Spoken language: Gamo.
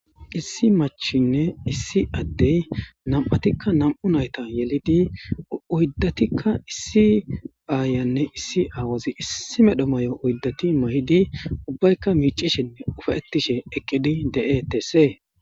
issi machinne issi addey nam7atikka nam7u nayta yelidi uyddatikka issi aayanne issi aawazi issi medho may7o uyddati may7idi ubbaykka miicishenne ufaettishe eqqidi de'etese